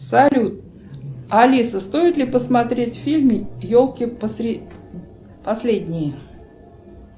салют алиса стоит ли посмотреть фильм елки последние